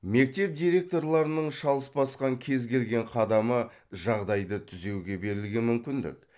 мектеп директорларының шалыс басқан кез келген қадамы жағдайды түзеуге берілген мүмкіндік